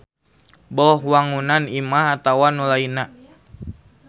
Boh wangunan imah atawa nu lainna.